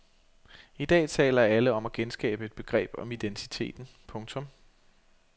I dag taler alle om at genskabe et begreb om identiteten. punktum